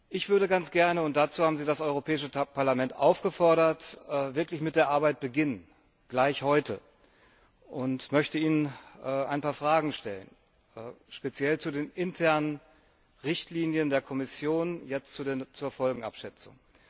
Ich würde ganz gern und dazu haben Sie das Europäische Parlament aufgefordert wirklich mit der Arbeit beginnen, gleich heute, und möchte Ihnen ein paar Fragen stellen, speziell zu den internen Richtlinien der Kommission zur Folgenabschätzung.